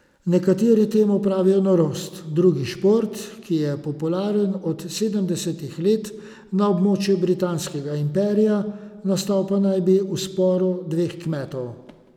Nekateri temu pravijo norost, drugi šport, ki je popularen od sedemdesetih let na območju britanskega imperija, nastal pa naj bi v sporu dveh kmetov.